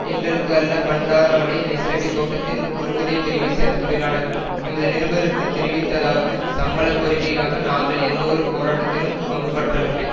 எங்களுக்கு அல்ல பண்டாரவளை ஐஸ்லபி தோட்டத்தின் குருக்குதே பிரிவை சேர்ந்த தொழிலாளர்கள் எமது நிருபருக்கு தெரிவித்ததாவது சம்பள கோரிக்கைக்காக நாங்கள் எந்த ஒரு போராட்டத்திலும் பங்குபற்றவில்லை